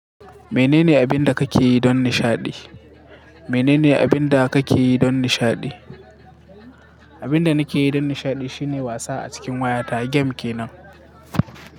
Menene abin da kake yi don nishaɗi? Menene abin da kake yi don nishaɗi? Abin da nake yi don nishaɗi shine wasa a cikin wayata. Game je nan.